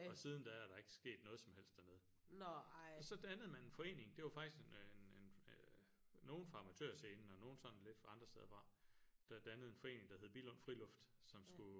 Og siden der er der er ikke sket noget som helst dernede og så dannede man en forening det var faktisk en en en nogle fra Amatørscenen og nogle sådan lidt fra andre steder fra der dannede en forening der hed Billund Friluft som skulle